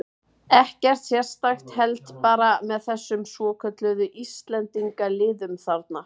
Ekkert sérstakt, held bara með þessum svokölluðu Íslendingaliðum þarna.